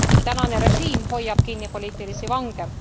Tänane režiim hoiab kinni poliitilisi vange.